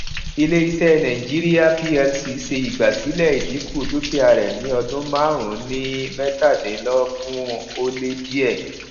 ilé iṣẹ nàìjíríà plc ṣe igbasilẹ ìdínkù dúkìá rè ní ọdún márùnún ní mẹtàdínlógún ó lé díè